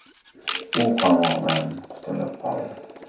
U qamoqdan qutulib qoldi.